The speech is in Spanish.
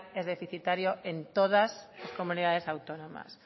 es deficitario en todas las comunidades autónomas